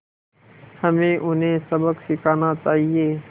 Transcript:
हमें उन्हें सबक सिखाना चाहिए